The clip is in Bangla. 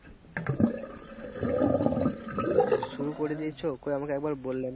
ও শুরু করে দিয়েছে কই আমাকে একবার বললে না।